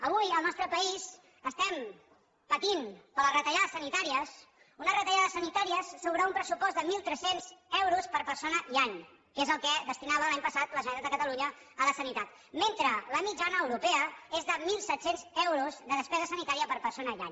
avui al nostre país estem patint per les retallades sanitàries unes retallades sanitàries sobre un pressupost de mil tres cents euros per persona i any que és el que destinava l’any passat la generalitat de catalunya a la sanitat mentre la mitjana europea és de mil set cents euros de despesa sanitària per persona i any